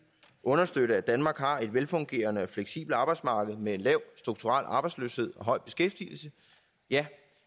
understøtte at danmark har et velfungerende og fleksibelt arbejdsmarked med lav strukturel arbejdsløshed og høj beskæftigelse ja